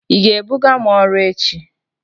Ị ga-ebuga m ọrụ echi?